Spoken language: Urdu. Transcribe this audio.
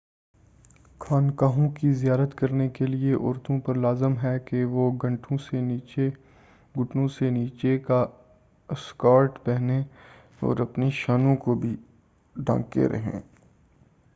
خانقاہوں کی زیارت کرنے کے لئے عورتوں پر لازم ہے کہ وہ گھٹنوں سے نیچے کا اسکرٹ پہنیں اور اپنی شانوں کو بھی ڈھانکے رہیں